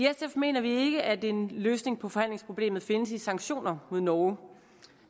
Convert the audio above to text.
mener vi ikke at en løsning på forhandlingsproblemet findes i sanktioner mod norge